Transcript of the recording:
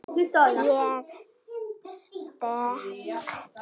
Ég stakk hann líka.